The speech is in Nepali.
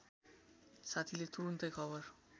साथीले तुरून्तै खबर